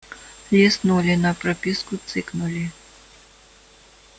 листнули на прописку цыкнули